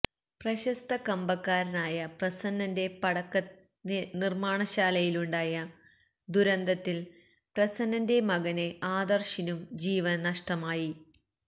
പ്രശസ്ത കമ്പക്കാരനായ പ്രസന്നന്റെ പടക്കനിര്മാണശാലയിലുണ്ടായ ദുരന്തത്തില് പ്രസന്നന്റെ മകന് ആദര്ശിനും ജീവന് നഷ്ടമായി